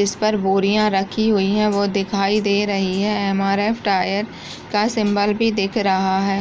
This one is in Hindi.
जिस पर बोरियाँ रखी हुई हैं वो दिखाई दे रही हैं। एम.आर.एफ. टायर का सिंबल भी दिख रहा है।